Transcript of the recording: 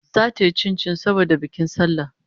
Zata yi chinchin saboda bikin sallah